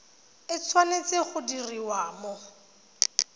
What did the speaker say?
e tshwanetse go diriwa mo